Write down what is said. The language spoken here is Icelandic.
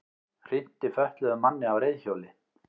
Hrinti fötluðum manni af reiðhjóli